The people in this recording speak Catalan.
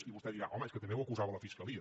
i vostè dirà home és que també ho acusava la fiscalia